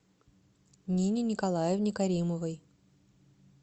нине николаевне каримовой